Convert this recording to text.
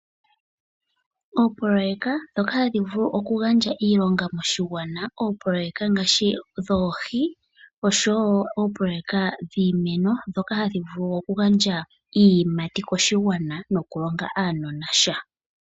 Oopoloyeka ndhoka hadhi vulu okugandja iilonga moshigwana, oopoloyeka ngaashi dhoohi, osho wo oopoloyeka dhiimeno ndhoka hadhi vulu okugandja iiyimati koshigwana nokulonga aanona sha.